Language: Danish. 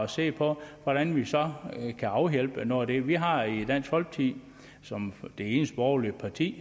se på hvordan vi så kan afhjælpe noget af det vi har i dansk folkeparti som det eneste borgerlige parti